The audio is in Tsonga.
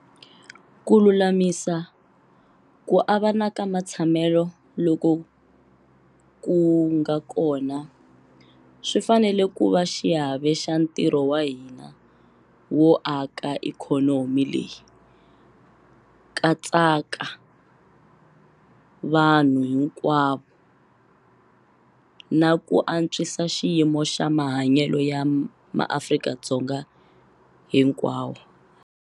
Ku lulamisa ku avana ka matshamelo loko ku nga kona swi fanele ku va xiave xa ntirho wa hina wo aka ikhonomi leyi katsaka vanhu hinkwavo na ku antswisa xiyimo xa mahanyelo ya MaAfrika-Dzonga hinkwavo.